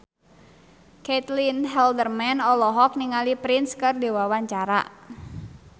Caitlin Halderman olohok ningali Prince keur diwawancara